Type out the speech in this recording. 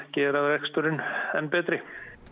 gera reksturinn enn betri